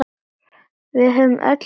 Við höfðum öll ástæðu.